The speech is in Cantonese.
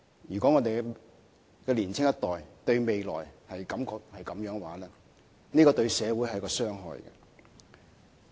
如果我們的年輕一代對未來有此想法，對社會而言會造成傷害。